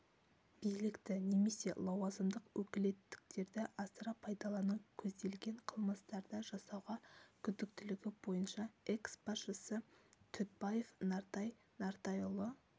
билікті немесе лауазымдық өкілеттіктерді асыра пайдалану көзделген қылмыстарды жасауға күдіктілігі бойынша экс-басшысы дүтбаев нартай нұртайұлы